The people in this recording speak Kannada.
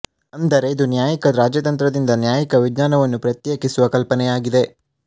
ಅಂದರೆ ಇದು ನ್ಯಾಯಿಕ ರಾಜತಂತ್ರದಿಂದ ನ್ಯಾಯಿಕ ವಿಜ್ಞಾನವನ್ನು ಪ್ರತ್ಯೇಕಿಸುವ ಕಲ್ಪನೆಯಾಗಿದೆ